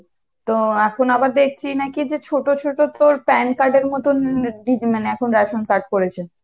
তো এখন আবার দেখছি নাকি যে ছোট ছোট তোর pan card এর মতন হম এতটুক মানে এখন ration card করেছে।